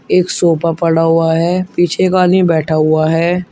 एक सोफा पड़ा हुआ है पीछे एक आदमी बैठा हुआ है।